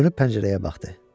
Çönüb pəncərəyə baxdı.